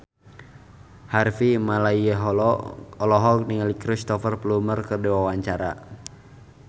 Harvey Malaiholo olohok ningali Cristhoper Plumer keur diwawancara